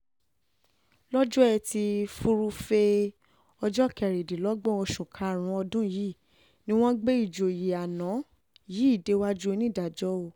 lọ́jọ́ etí furuufee ọjọ́ kẹrìndínlọ́gbọ̀n oṣù karùn-ún ọdún yìí ni wọ́n gbé ìjòyè àná yìí déwájú onídàájọ́ òò